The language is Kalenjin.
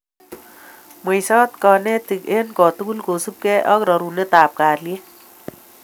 mweisot kanetik eng kotugul kosubgei ak rorunetab kalyet